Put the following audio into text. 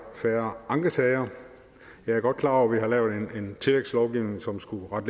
færre ankesager jeg er godt klar over at vi har lavet en tillægslovgivning som skulle rette